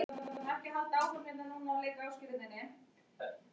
Jökulskildirnir þrýstu landinu mest niður þar sem þeir voru þykkastir.